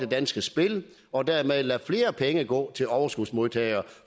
danske spil og dermed lade flere penge gå til overskudsmodtagere